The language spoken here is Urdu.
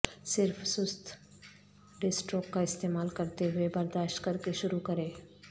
صرف سست ڈسٹروک کا استعمال کرتے ہوئے برداشت کرکے شروع کریں